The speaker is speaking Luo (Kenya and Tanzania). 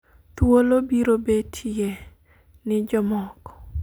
thuolo biro betie ni jomoko